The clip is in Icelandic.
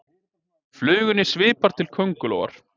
Flugunni svipar til kóngulóar